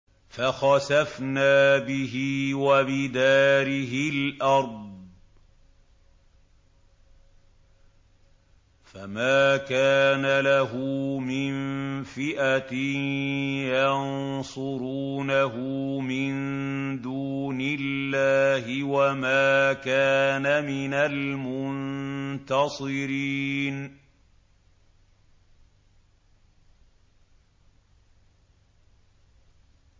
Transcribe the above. فَخَسَفْنَا بِهِ وَبِدَارِهِ الْأَرْضَ فَمَا كَانَ لَهُ مِن فِئَةٍ يَنصُرُونَهُ مِن دُونِ اللَّهِ وَمَا كَانَ مِنَ الْمُنتَصِرِينَ